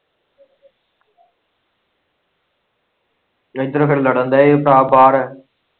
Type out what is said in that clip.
ਇੱਧਰ ਫੇਰ ਲੜਨ ਦਾ ਵੀ ਭਰਾ ਭਾਰ ਏ।